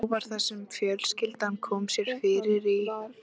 Þá var það sem fjölskyldan kom sér fyrir í